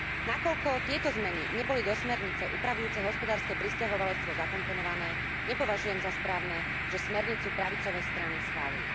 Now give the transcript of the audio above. Nakoľko tieto zmeny neboli do smernice upravujúcej hospodárske prisťahovalectvo zakomponované, nepovažujem za správne, že smernicu pravicové strany schválili.